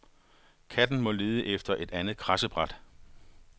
Katten må lede efter et andet kradsebræt.